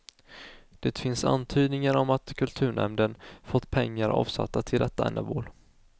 Det finns antydningar om att kulturnämnden fått pengar avsatta till detta ändamål.